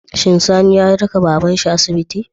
Shin Sani ya raka babar shi asibiti?